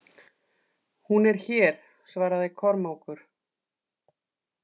Hún er hér, svaraði Kormákur.